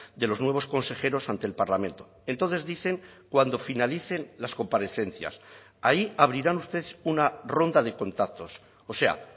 de los nuevos consejeros ante el parlamento entonces dicen cuando finalicen las comparecencias ahí abrirán ustedes una ronda de contactos o sea